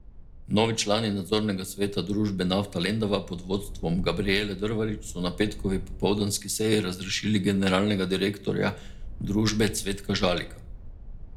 Novi člani nadzornega sveta družbe Nafta Lendava pod vodstvom Gabrijele Drvarič so na petkovi popoldanski seji razrešili generalnega direktorja družbe Cvetka Žalika.